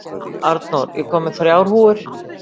Arnór, ég kom með þrjár húfur!